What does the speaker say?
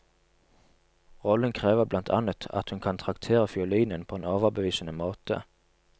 Rollen krever blant annet at hun kan traktere fiolinen på en overbevisende måte.